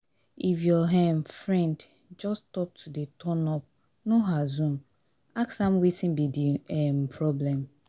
if your um friend friend just stop to dey turn up no assume ask am wetin be di um problem